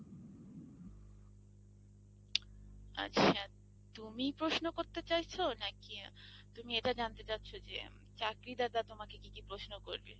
আচ্ছা তুমি প্রশ্ন করতে চাইছো? নাকি তুমি এটা জানতে চাচ্ছ যে চাকরিদাতা তোমাকে কি কি প্রশ্ন করবে?